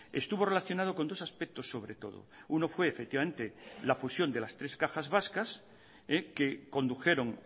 estuvo relacionado con dos aspectos sobre todo uno fue efectivamente la fusión de las tres cajas vascas que condujeron